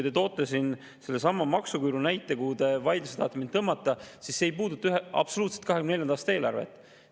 Te tõite sellesama maksuküüru näite, mille te tahate mind vaidlusse tõmmata, aga see ei puuduta absoluutselt 2024. aasta eelarvet.